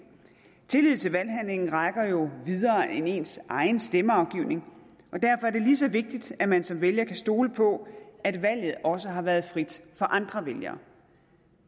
tillid til valghandlingen rækker jo videre end ens egen stemmeafgivning og derfor er det lige så vigtigt at man som vælger kan stole på at valget også har været frit for andre vælgere